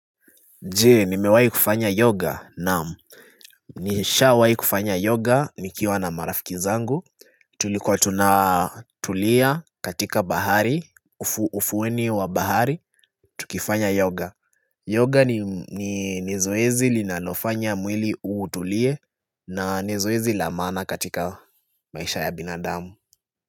Je, nimewahi kufanya yoga naam Nishawahi kufanya yoga nikiwa na marafiki zangu Tulikuwa tunatulia katika bahari, ufukweni wa bahari, tukifanya yoga Yoga ni zoezi linanofanya mwili uutulie na ni zoezi la maana katika maisha ya binadamu.